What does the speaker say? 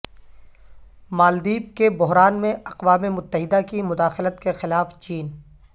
مالدیپ کے بحران میں اقوام متحدہ کی مداخلت کے خلاف چین